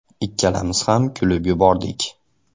Ikkalamiz ham kulib yubordik.